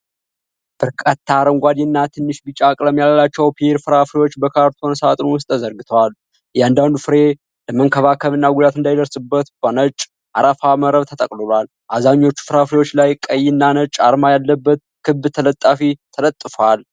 በርካታ አረንጓዴ እና ትንሽ ቢጫ ቀለም ያላቸው ፒር ፍራፍሬዎች በካርቶን ሳጥን ውስጥ ተዘርግተዋል። እያንዳንዱ ፍሬ ለመከላከልና ጉዳት እንዳይደርስበት በነጭ አረፋ መረብ ተጠቅልሏል። አብዛኞቹ ፍራፍሬዎች ላይ ቀይና ነጭ አርማ ያለበት ክብ ተለጣፊ ተለጥፉዋል።